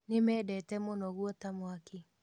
Nĩmendete mũno guota mwaki